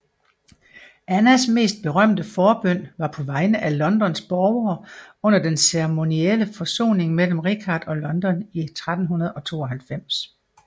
Annas mest berømte forbøn var på vegne af Londons borgere under den ceremonielle forsoning mellem Richard og London i 1392